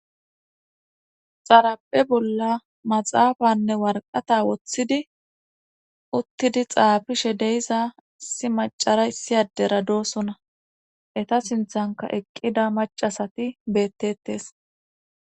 xaraphe bolla maxaafanne warqata woththidi uttidi xaafishe deiza si macara isiyadera doosona eta sinthanka eqqida macasati beettettes